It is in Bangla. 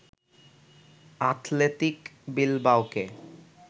আথলেতিক বিলবাওকে